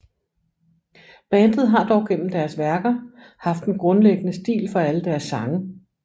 Bandet har dog gennem deres værker haft en grundlæggende stil for alle deres sange